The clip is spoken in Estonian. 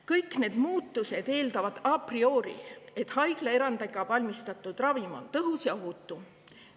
Kõik need muutused eeldavad a priori, et haiglaerandi alusel valmistatud ravim on tõhus ja ohutu.